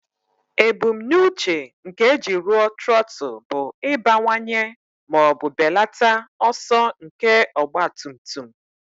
Ebumnuche nke eji rụọ trọtụl bụ ịbawanye ma ọ bụ belata ọsọ nke ọgba tum tum.